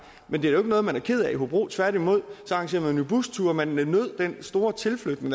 men det er jo ikke noget man er ked af i hobro tværtimod arrangerede man jo busture man nød den store tilflytning